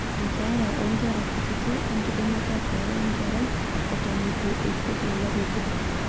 keeya oonkera kutitik; enkidimata peeye enkerai eton eitu eiput olari obo